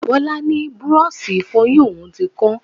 Bọlá ni búrọ́ọ̀ṣì Ìfọ̀yín òun ti kán